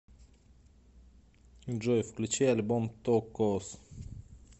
джой включить альбом токос